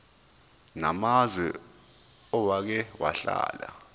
namazwe owake wahlala